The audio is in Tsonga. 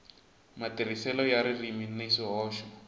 matirhiselo ya ririmi ni swihoxo